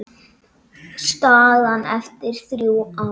Staðan eftir þrjú ár?